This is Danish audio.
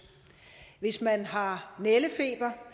hvis man har nældefeber